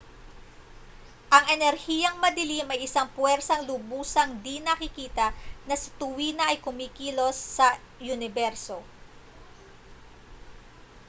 ang enerhiyang madilim ay isang pwersang lubusang di-nakikita na sa tuwina ay kumikilos sa uniberso